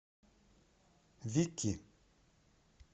вики